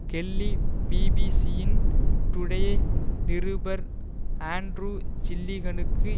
Kelly பிபிசியின் Today நிருபர் Andrew ஜில்லிகனுக்கு